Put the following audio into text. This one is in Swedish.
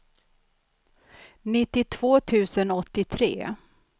nittiotvå tusen åttiotre